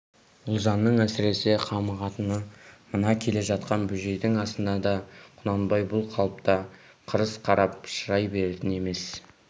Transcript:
ұлжанның әсіресе қамығатыны мына келе жатқан бөжейдің асына да құнанбай бұл қалыпта қырыс қарап шырай беретін емес